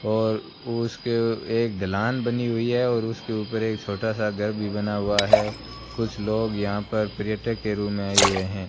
और उसके एक ढलान बनी हुई है और उसके ऊपर एक छोटा सा घर भी बना हुआ है कुछ लोग यहां पर पर्यटक के रू में आए हुए हैं।